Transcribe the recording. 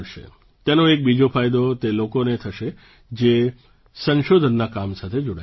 તેનો એક બીજો ફાયદો તે લોકોને થશે જે સંશોધનના કામ સાથે જોડાયેલા છે